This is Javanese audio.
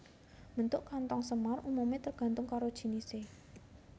Bentuk kanthong semar umumé tergantung karo jinisé